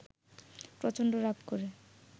প্রচণ্ড রাগ করে